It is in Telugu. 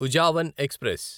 ఉజావన్ ఎక్స్ప్రెస్